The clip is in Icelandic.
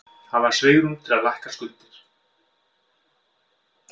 Hafa svigrúm til að lækka skuldir